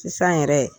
Sisan yɛrɛ